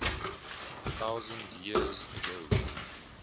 thousand years ago